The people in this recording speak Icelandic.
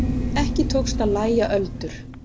Ekki tókst að lægja öldur.